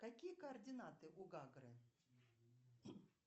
какие координаты у гагры